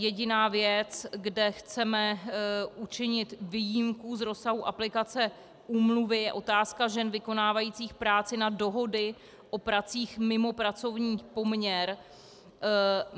Jediná věc, kde chceme učinit výjimku z rozsahu aplikace úmluvy, je otázka žen vykonávajících práci na dohody o pracích mimo pracovní poměr.